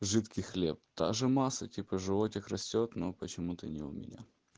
жидкий хлеб таже масса типа животик растёт но почему-то не у меня